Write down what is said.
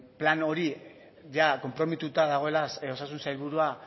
plan hori i konprometitu dagoela osasun sailburua